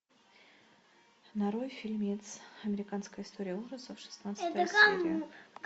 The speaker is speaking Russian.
нарой фильмец американская история ужасов шестнадцатая серия